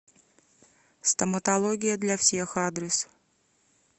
стоматология для всех адрес